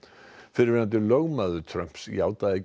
fyrrverandi lögmaður Trumps játaði